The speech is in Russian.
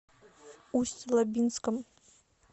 усть лабинском